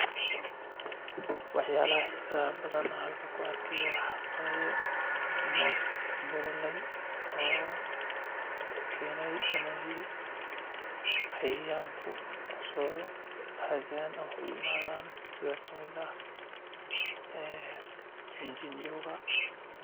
Wax yaabaha xiisaha leh oo aan halkan ku arki haayo waxaa waye moos bolole oo keenay inay cayayaanka kusoo hadaan ama u imaadan sida kamid ah jinjiniyowga.